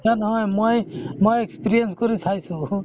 মিছা নহয় মই~ মই experience কৰি চাইছো